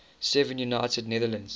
seven united netherlands